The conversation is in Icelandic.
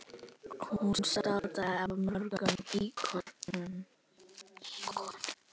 Hún státaði af mörgum íkonum.